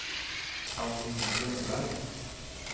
Paulina Ljungberg